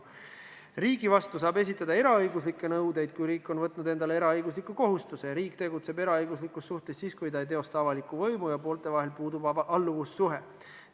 Riigi vastu saab esitada eraõiguslikke nõudeid, kui riik on võtnud endale eraõigusliku kohustuse, ja riik tegutseb eraõiguslikus suhtes siis, kui ta ei teosta avalikku võimu ja poolte vahel puudub alluvussuhe.